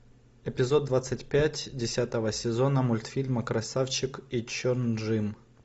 эпизод двадцать пять десятого сезона мультфильма красавчик и чжон ым